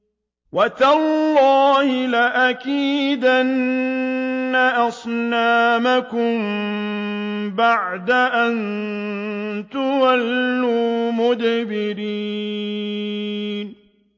وَتَاللَّهِ لَأَكِيدَنَّ أَصْنَامَكُم بَعْدَ أَن تُوَلُّوا مُدْبِرِينَ